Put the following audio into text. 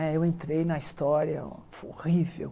É eu entrei na história horrível.